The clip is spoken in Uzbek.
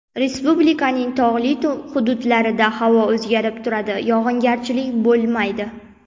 Respublikaning tog‘li hududlarida havo o‘zgarib turadi, yog‘ingarchilik bo‘lmaydi.